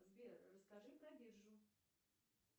сбер расскажи про биржу